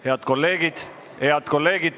Head kolleegid!